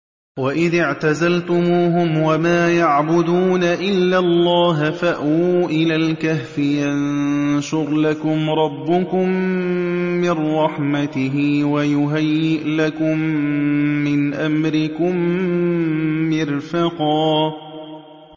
وَإِذِ اعْتَزَلْتُمُوهُمْ وَمَا يَعْبُدُونَ إِلَّا اللَّهَ فَأْوُوا إِلَى الْكَهْفِ يَنشُرْ لَكُمْ رَبُّكُم مِّن رَّحْمَتِهِ وَيُهَيِّئْ لَكُم مِّنْ أَمْرِكُم مِّرْفَقًا